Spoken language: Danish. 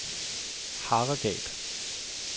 Haregab